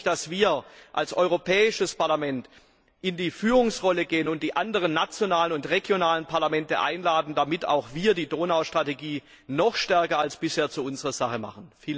Hier hoffe ich, dass wir als Europäisches Parlament in die Führungsrolle gehen und die anderen nationalen und regionalen Parlamente einladen, damit auch wir die Donau Strategie noch stärker als bisher zu unserer Sache machen.